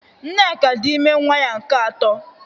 Nneka dị ime nwa ya nke atọ